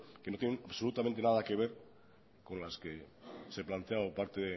que no tiene absolutamente nada que ver con las que se planteaba a parte